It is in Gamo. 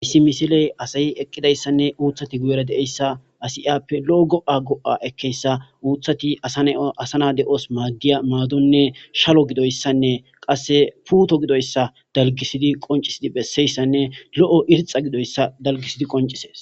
Issi misile assati eqidayissane uthati guyera bettesi assi iyape lo'o goa goa ekeyisa eti asa naasi madiya madone putto gidoyisa daligisidi qoncisidi beseyisane loo irixa gidoyisa daligisidi qoncises